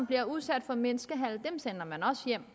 bliver udsat for menneskehandel sender man også hjem